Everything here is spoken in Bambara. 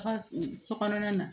A ka so kɔnɔna na